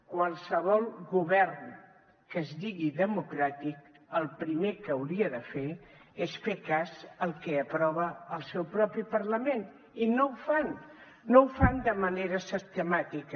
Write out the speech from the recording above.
qualsevol govern que es digui democràtic el primer que hauria de fer és fer cas al que aprova el seu propi parlament i no ho fan no ho fan de manera sistemàtica